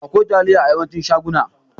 Akwai taliya a yawancin shaguna.